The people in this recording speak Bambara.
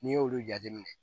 N'i y'olu jateminɛ